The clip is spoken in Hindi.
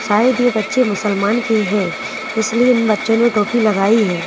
शायद ये बच्चे मुसलमान के है इसलिए इन बच्चों ने टोपी लगाई है।